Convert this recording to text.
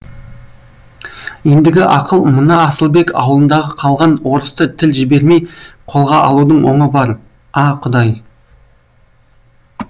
ендігі ақыл мына асылбек аулындағы қалған орысты тіл жібермей қолға алудың оңы бар а құдай